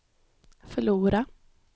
förlora